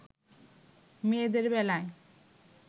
মেয়েদের বেলায়